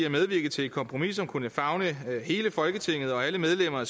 at medvirke til et kompromis som kunne favne hele folketinget og alle medlemmer af